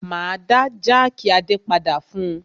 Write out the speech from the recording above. Máa dá jákì Adé padà fún un.